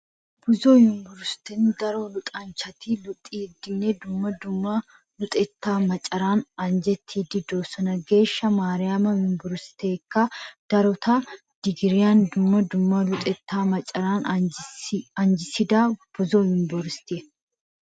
Buzo yuniverisetun daro luxanchchati luxidinne dumma dumma luxettaa macaran anjjettidosona. Geeshsha Maariyaami yuniverseekka darota digiriyaan dumma dumma luxettaa macaran anjjisida buzo yuniverisite.